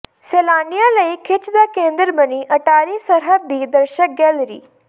ਸੈਲਾਨੀਆਂ ਲਈ ਖਿੱਚ ਦਾ ਕੇਂਦਰ ਬਣੀ ਅਟਾਰੀ ਸਰਹੱਦ ਦੀ ਦਰਸ਼ਕ ਗੈਲਰੀ